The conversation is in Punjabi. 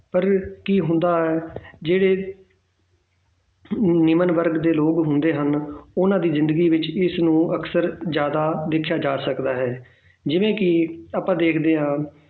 ਪਰ ਕੀ ਹੁੰਦਾ ਹੈ ਜਿਹੜੇ ਨਿਮਨ ਵਰਗ ਦੇ ਲੋਕ ਹੁੰਦੇ ਹਨ ਉਹਨਾਂ ਦੀ ਜ਼ਿੰਦਗੀ ਵਿੱਚ ਇਸਨੂੰ ਅਕਸਰ ਜ਼ਿਆਦਾ ਵੇਖਿਆ ਜਾ ਸਕਦਾ ਹੈ ਜਿਵੇਂ ਕਿ ਆਪਾਂ ਦੇਖਦੇ ਹਾਂ